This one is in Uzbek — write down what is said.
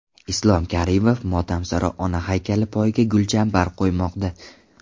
Islom Karimov Motamsaro ona haykali poyiga gulchambar qo‘ymoqda.